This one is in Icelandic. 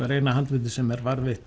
er eina handritið sem er varðveitt